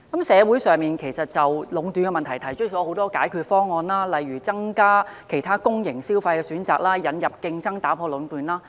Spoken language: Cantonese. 社會上曾就壟斷問題提出很多解決方案，例如增加其他公營消費選擇及引入競爭打破壟斷。